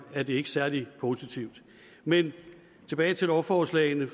er det ikke særlig positivt men tilbage til lovforslagene